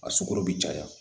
A sukɔrɔ bi caya